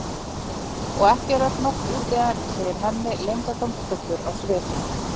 Og ekki er öll nótt úti enn, segir Hemmi leyndardómsfullur á svip.